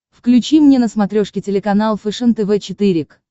включи мне на смотрешке телеканал фэшен тв четыре к